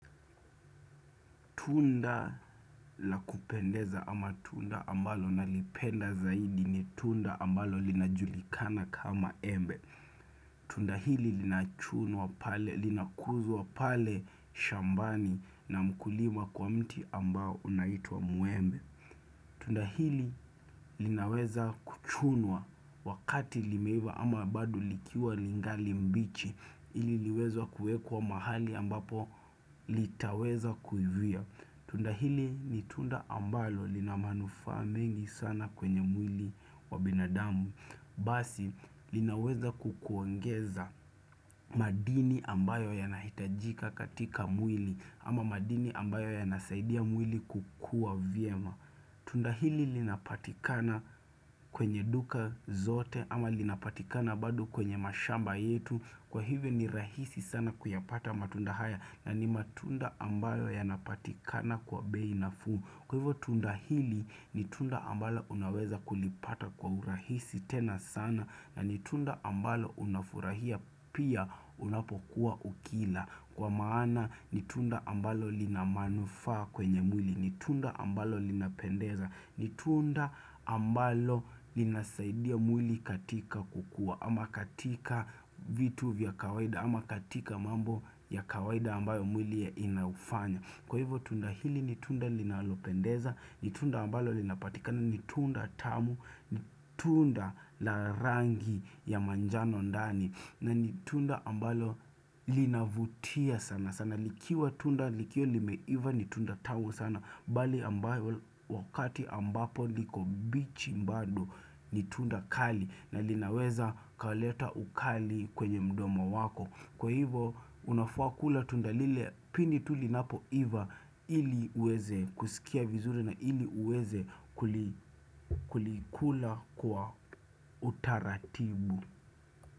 Tunda la kupendeza ama tunda ambalo nalipenda zaidi ni tunda ambalo linajulikana kama embe. Tunda hili linakuzwa pale shambani na mkulima kwa mti ambao unaituwa muembe. Tunda hili linaweza kuchunwa wakati limeiva ama bado likiwa lingali mbichi ili liweze kuekwa mahali ambapo litaweza kuivia. Tunda hili ni tunda ambalo lina manufaa mengi sana kwenye mwili wa binadamu. Basi linaweza kukuongeza madini ambayo yanahitajika katika mwili ama madini ambayo yanasaidia mwili kukua vyema. Tunda hili linapatikana kwenye duka zote ama linapatikana bado kwenye mashamba yetu. Kwa hivyo ni rahisi sana kuyapata matunda haya na ni matunda ambayo yanapatikana kwa bei nafuu Kwa hivyo tunda hili ni tunda ambalo unaweza kulipata kwa urahisi tena sana na ni tunda ambalo unafurahia pia unapokuwa ukila Kwa maana ni tunda ambalo lina manufaa kwenye mwili, ni tunda ambalo linapendeza, ni tunda ambalo linasaidia mwili katika kukua ama katika vitu vya kawaida ama katika mambo ya kawaida ambayo mwili inaufanya Kwa hivyo tunda hili ni tunda linalopendeza ni tunda ambalo linapatika na ni tunda tamu ni tunda la rangi ya manjano ndani na ni tunda ambalo linavutia sana sana likiwa tunda likiwa limeiva ni tunda tamu sana Bali ambayo wakati ambapo liko mbichi mbado ni tunda kali na linaweza kaleta ukali kwenye mdomo wako Kwa hivo unafaa kula tunda lile pindi linapoiva ili uweze kusikia vizuri na ili uweze kulikula kwa utaratibu.